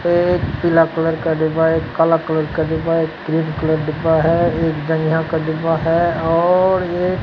एक पीला कलर का डिब्बा एक काला कलर का डिब्बा एक रेड कलर डिब्बा है एक जांघिया का डिब्बा है और एक --